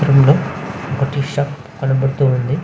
ఈ చిత్రంలో ఒక టీ షాప్ కనపడతూఉంది.